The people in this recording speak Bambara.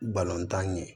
Balontan ye